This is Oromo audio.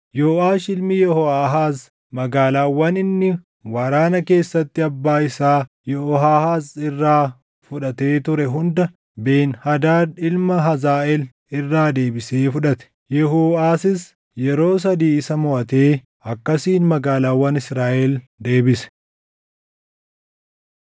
Yooʼaash ilmi Yehooʼaahaaz magaalaawwan inni waraana keessatti abbaa isaa Yehooʼaahaaz irraa fudhatee ture hunda Ben-Hadaad ilma Hazaaʼeel irraa deebisee fudhate. Yahooʼasis yeroo sadii isa moʼatee akkasiin magaalaawwan Israaʼel deebise.